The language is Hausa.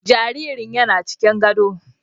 Jaririn yana cikin gadon